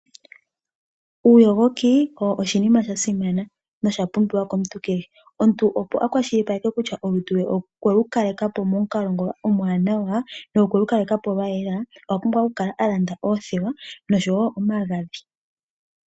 Uuyogoki oshinima sha simana nosha pumbiwa komuntu kehe, omuntu opo a kwashilipaleke kutya olutu okwe lu kale ka po pamukalo omwanawa nolwa yela oku na okulanda omagadhi oshowo oothewa.